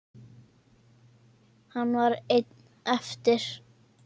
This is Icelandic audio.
Hann var einn eftir.